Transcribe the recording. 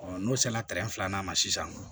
n'o sera filanan ma sisan